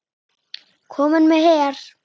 Kominn með her!